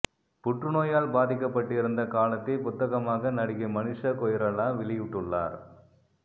புற்றுநோயால் பாதிக்கப்பட்டிருந்த காலத்தை புத்தகமாக நடிகை மனிஷா கொய்ராலா வெளியிட்டுள்ளார்